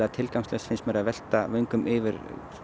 tilgangslaust finnst mér að velta vöngum yfir